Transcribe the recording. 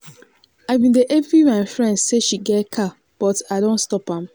i bin dey envy my friend say she get car but i don stop am